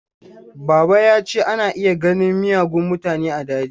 Baba ya ce ana iya ganin miyagun mutane a daji.